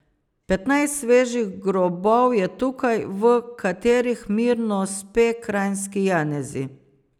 Petnajst svežih grobov je tukaj, v katerih mirno spe kranjski Janezi.